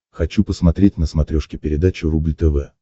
хочу посмотреть на смотрешке передачу рубль тв